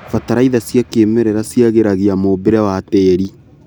Bataraitha cia kĩmerera ciagĩragia mũmbĩre wa tĩri.